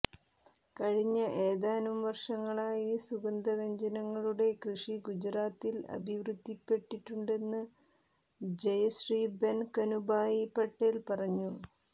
കഴിഞ്ഞ ഏതാനും വർഷങ്ങളായി സുഗന്ധവ്യഞ്ജനങ്ങളുടെ കൃഷി ഗുജറാത്തിൽ അഭിവൃദ്ധിപ്പെട്ടിട്ടുെണ്ടന്ന് ജയശ്രീബെൻ കനുഭായി പട്ടേൽ പറഞ്ഞു